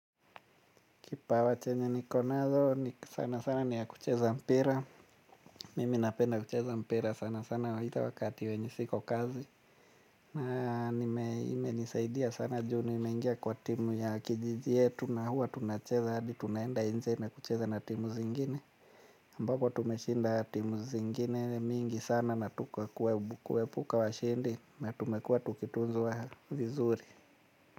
Kipawa chenye niko nazo, sana sana ni ya kucheza mpira. Mimi napenda kucheza mpira sana sana wakati wenye siko kazi. Na nime imenisaidia sana juu nimengia kwa timu ya kijiji yetu na huwa tunacheza hadi tunaenda nje na kucheza na timu zingine. Ambapo tumeshinda timu zingine mingi sana na tukakuwa kuepuka washindi na tumekua tukitunzwa vizuri.